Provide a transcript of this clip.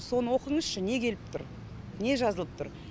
соны оқыңызшы не келіп тұр не жазылып тұр